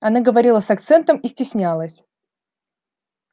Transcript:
она говорила с акцентом и стеснялась